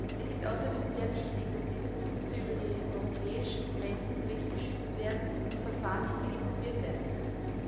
Es ist außerdem sehr wichtig, dass diese Produkte über die europäischen Grenzen hinweg geschützt werden und Verfahren nicht billig kopiert werden können.